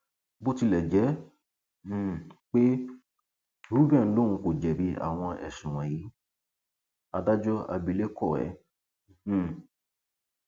bó tilẹ jẹ um pé reuben lòun kò jẹbi àwọn ẹsùn wọnyí adájọ abilékọ ẹ um